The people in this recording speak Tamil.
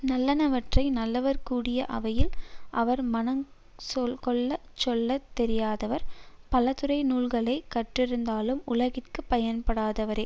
நல்லனவற்றை நல்லவர் கூடிய அவையில் அவர் மனங் கொள்ள சொல்ல தெரியாதவர் பலதுறை நூல்களை கற்றிருந்தாலும் உலகிற்குப் பயன்படாதவரே